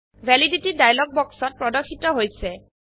validity dialogue বাক্সত প্রদর্শিত হৈছে